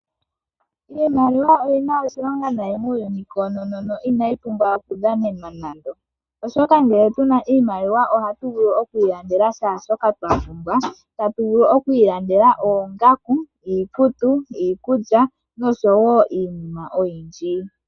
Iimaliwa oyina oshilonga nayi muuyuni koonono yo inayi pumbwa okudhanenwa nando, oshoka ngele tuna iimaliwa ohatu vulu oku ilandela kehe shoka twapumbwa tatuvulu oku ilandela oongaku, iikutu, iikulya noshowo iinima oyindji.